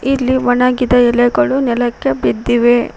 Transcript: ಇಲ್ಲಿ ಒಣಗಿದ ಎಲೆಗಳು ನೆಲಕ್ಕೆ ಬಿದ್ದಿವೆ.